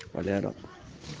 валера